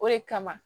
O de kama